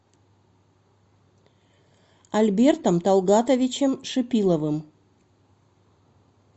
альбертом талгатовичем шипиловым